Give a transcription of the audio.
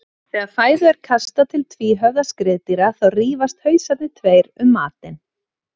Þegar fæðu er kastað til tvíhöfða skriðdýra þá rífast hausarnir tveir um matinn.